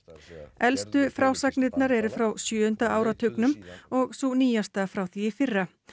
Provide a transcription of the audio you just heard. elstu frásagnirnar eru frá sjöunda áratugnum og sú nýjasta frá því í fyrra